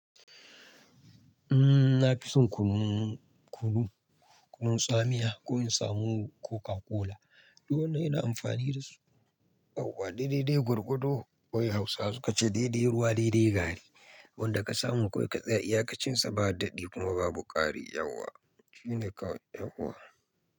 Umm, na fi son kunun, kunun, kunun tsamiya ko in samu Coca-Cola. Duk wannan ina amfani da su. Yauwa. Daidai gwargado wai Hausa sukace daidai ruwa daidai gari. Abin da ka samu kawai ka tsaya, iyakacin sa ba daɗi kuma babu ƙari yauwa. Shi ne kawai yauwa.